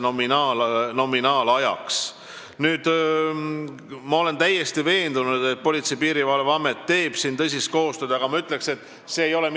Ma olen täiesti veendunud, et Politsei- ja Piirivalveamet teeb siin tõsist koostööd Haridus- ja Teadusministeeriumiga, aga ma ütleks, et see ei ole mitte ainult HTM-i ja PPA vaheline koostöö, vaid see on ka koostöö ülikoolidega.